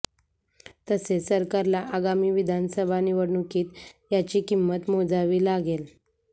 तसेच सरकारला आगामी विधानसभा निवडणुकीत याची किंमत मोजावी लागेल